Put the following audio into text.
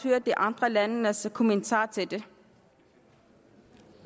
høre de andre landes kommentarer til det